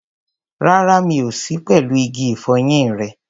Rárá, mi ò sí pẹ̀lú igi ìfọyín rẹ.